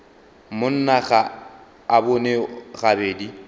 monna ga a bone gabedi